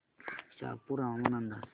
शहापूर हवामान अंदाज